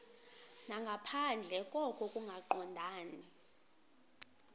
nangaphandle koko kungaqondani